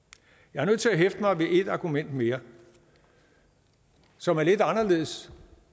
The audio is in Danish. jeg er nødt til at hæfte mig ved et argument mere som er lidt anderledes